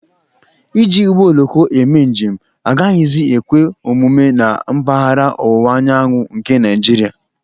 Iji ụgbọ oloko eme njem agaghịzi ekwe omume na mpaghara ọwụwa anyanwụ nke Naịjiria.